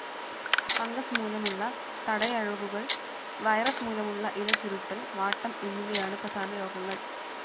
Fungus മൂലമുള്ള തടയഴുകുകൾ, virus മൂലമുള്ള ഇലചുരുട്ടൽ, വാട്ടം എന്നിവയാണ് പ്രധാന രോഗങ്ങൾ.